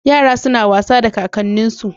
Yara suna wasa da kakanninsu.